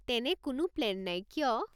তেনে কোনো প্লেন নাই, কিয়?